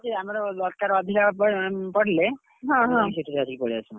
ଆମର ଦରକାର ଅଧିକା ପଡିଲେ, ସେଠୁ ଧରିକି ପଳେଇ ଆସୁ।